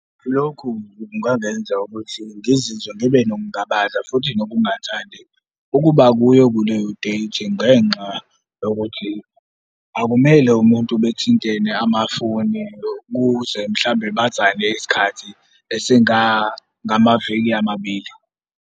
Lokhu kungangenza ukuthi ngizizwe ngibe nokungabaza, futhi nokungathandi ukuba kuyo kuleyo date ngenxa yokuthi akumele umuntu bethintene amafoni kuze mhlambe bazane isikhathi esingangamaviki amabili.